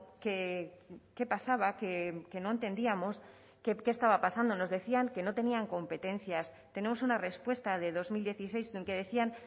que qué pasaba que no entendíamos qué estaba pasando nos decían que no tenían competencias tenemos una respuesta de dos mil dieciséis en que decían